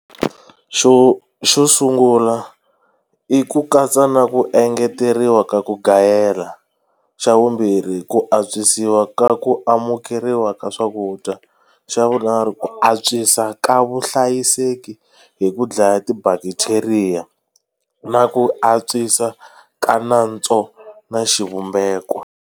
Xo xo sungula i ku katsa na ku engeteriwa ka ku gayela xa vumbirhi ku antswisiwa ka ku amukeriwa ka swakudya xa vunharhu ku antswisa ka vuhlayiseki hi ku dlaya ti bacteria na ku antswisa ka nantswo na xivumbeko.